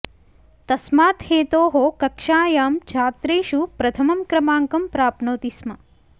तस्मात् हेतोः कक्षायां छात्रेषु प्रथमं क्रमाङ्कं प्राप्नोति स्म